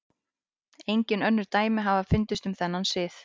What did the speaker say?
Engin önnur dæmi hafa fundist um þennan sið.